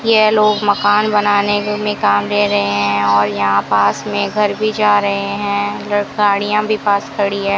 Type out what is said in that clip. यह लोग मकान बनाने वे में काम दे रहे हैं और यहां पास में घर भी जा रहे हैं इधर गाड़ियां भी पास खड़ी है।